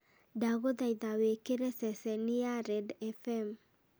ndagũthaitha wĩkĩre ceceni ya red f.m.